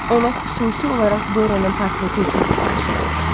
Ona xüsusi olaraq Dorianın portreti üçün sifariş eləmişdi.